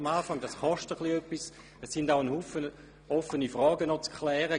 Das wird etwas kosten, und es sind auch noch viele Fragen zu klären.